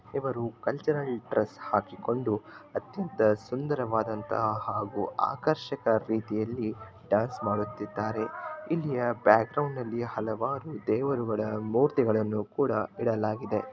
ಇವರು cultural dress ಹಾಕಿಕೊಂಡು ಅತ್ಯಂತ ಸುಂದರವಾದಂತಹ ಹಾಗೂ ಆಕರ್ಶಕ ರೀತಿಯಲ್ಲಿ ಡಾನ್ಸ್ ಮಾಡುತ್ತಿದ್ದಾರೆ ಇಲ್ಲಿಯ ಬ್ಯಾಕ್ ಗ್ರೌಂಡ್ ಅಲ್ಲಿ ಹಲವಾರು ದೇವರುಗಳ ಮೂರ್ತಿಗಳನ್ನು ಕೂಡ ಇಡಲಾಗಿದೆ.